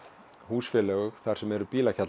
húsfélög þar sem eru